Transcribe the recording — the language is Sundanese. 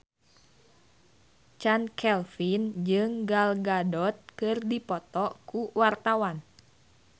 Chand Kelvin jeung Gal Gadot keur dipoto ku wartawan